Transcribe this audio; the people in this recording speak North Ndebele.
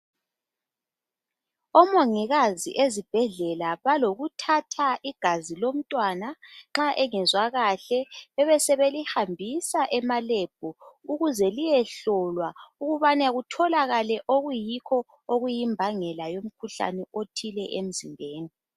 Omongikazi ezibhedlela balokuthatha igazi lomntwana nxa engezwa kahle bebe sebelihambisa ema"lab" ukuze liyehlolwa ukubana kutholakale okuyikho okuyimbangela yomkhuhlane othile emzimbeni.